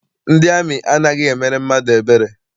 Ndị amị anaghị emere mmadụ ebere.